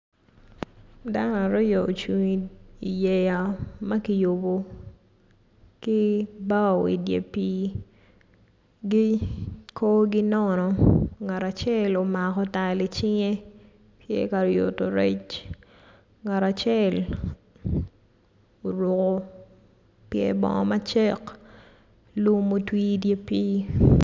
Dano aryo ocungo i yeya makiyubo ki bao idyer pi gi kor gi nono ngat acel omako tal i cinge tye ka yuto rec ngat acel oruko pyer bongo macek lum otwi i dyer pi.